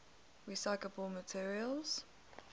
recyclable materials